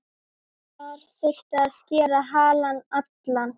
Þar þyrfti að skera halann allan.